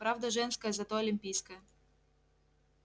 правда женская зато олимпийская